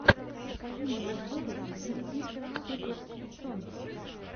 покажи мне обзоры зик зик суперс сонгс